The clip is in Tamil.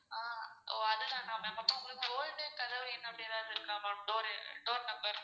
ஆஹ் ஒ அது தான ma'am அப்போ உங்களுக்கு old கதவு எண் அப்படி ஏதாவது இருக்கா ma'am door door number.